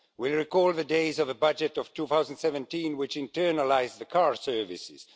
We recall the days of the budget of 2017 which internalised the car service.